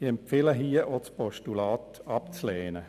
Ich empfehle hier, auch das Postulat abzulehnen.